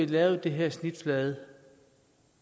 lavet de her snitflader